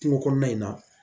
Kungo kɔnɔna in na